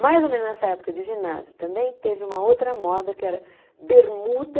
Mais ou menos nessa época de ginásio também teve uma outra moda que era bermuda,